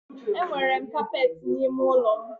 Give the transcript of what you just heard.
Enwere m kapeti n'ime ụlọ m.